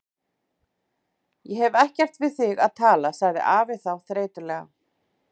Ég hef ekkert við þig að tala, sagði afi þá þreytulega.